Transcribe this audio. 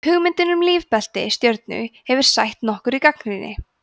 hugmyndin um lífbelti stjörnu hefur sætt nokkurri gagnrýni